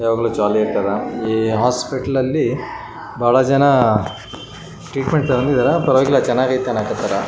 ಯಾವಾಗ್ಲೂ ಜಾಲಿ ಆಗಿರ್ತಾರ. ಈ ಹೋಸ್ಪಿಟಲ ಅಲ್ಲಿ ಬಹಳ ಜನ ಟ್ರೀಟ್ಮೆಂಟ್ ತೊಂಕೊಂಡಿದರ ಪರವಾಗಿಲ್ಲ ಬಹಳ ಚೆನ್ನಾಗಿ ಐತಿ ಅನ್ನಾಕತ್ತಾರ.